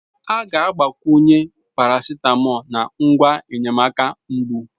A ga-agbakwunye paracetamol na ngwa enyemaka mbụ.